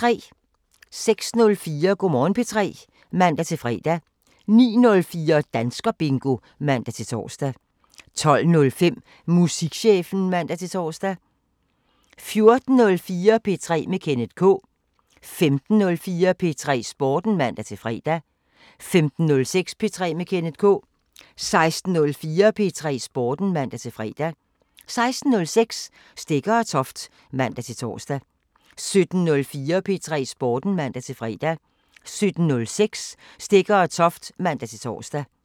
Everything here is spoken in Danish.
06:04: Go' Morgen P3 (man-fre) 09:04: Danskerbingo (man-tor) 12:05: Musikchefen (man-tor) 14:04: P3 med Kenneth K 15:04: P3 Sporten (man-fre) 15:06: P3 med Kenneth K 16:04: P3 Sporten (man-fre) 16:06: Stegger & Toft (man-tor) 17:04: P3 Sporten (man-fre) 17:06: Stegger & Toft (man-tor)